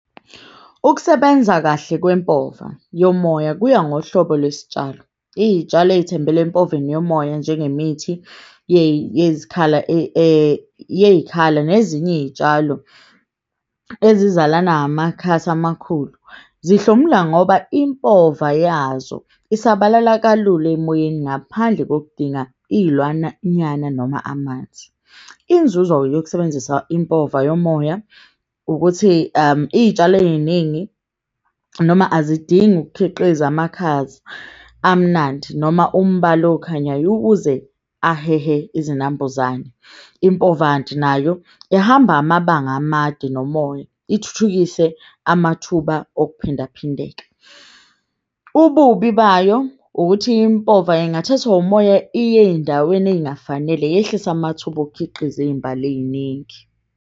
Ukusebenza kahle kwempova yomoya kuya ngohlobo lwesitshalo. Iyitshalo ezithembele empoveni yomoya, njengemithi yey'khala nezinye iy'tshalo ezizalana ngamakhasi amakhulu. Zihlomula ngoba impova yazo isabalala kalula emoyeni ngaphandle kokudinga noma amanzi. Inzuzo-ke yokusebenzisa impova yomoya ukuthi iy'tshalo ey'ningi. Noma azidingi ukukhiqiza amakhaza amnandi noma umbala okhanyayo ukuze ahehe izinambuzane. Impova kanti nayo ehamba amabanga amade nomoya, ithuthukise amathuba okuphindaphindeka. Ububi bayo ukuthi impova ingathathwa umoya iye ey'ndaweni ey'ngafanele. Yehlise amathuba okhiqiza iy'mbali ey'ningi.